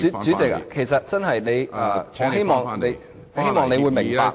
主席，其實我希望你明白......